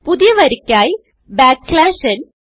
പുതിയ വരിയ്ക്കായി backslash n n